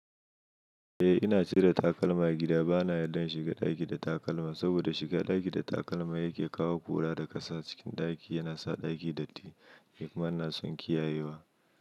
Eh ina cire takalma a gida, bana yadda in shiga ɗaki da takalma saboda shiga ɗaki da takalma yake kawo ƙura da ƙasa cikin ɗaki, yana sa ɗaki datti ni kuma ina son kiyayewa.